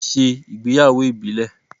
Wọ́n ṣe ìgbéyàwó ìbílẹ̀.